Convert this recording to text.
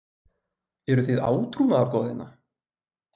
Eruð þið átrúnaðargoð hérna?